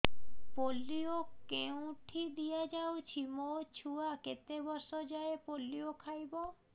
polio କେଉଁଠି ଦିଆଯାଉଛି ମୋ ଛୁଆ କେତେ ବର୍ଷ ଯାଏଁ ପୋଲିଓ ଖାଇବ